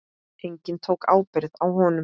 Enginn tók ábyrgð á honum.